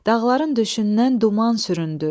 Dağların döşündən duman süründü,